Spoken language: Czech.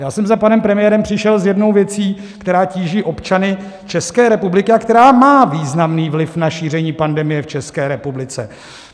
Já jsem za panem premiérem přišel s jednou věcí, která tíží občany České republiky a která má významný vliv na šíření pandemie v České republice.